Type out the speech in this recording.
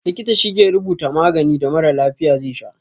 Likita shi ke rubuta maganin da mara lafiya ze sha